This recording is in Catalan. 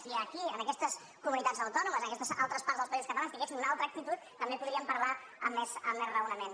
si aquí en aquestes comunitats autònomes aquestes altres parts dels països catalans tinguessin una altra actitud també podríem parlar amb més raonament